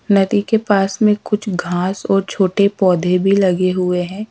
नदी के पास में कुछ घास और छोटे पौधे भी लगे हुए हैं।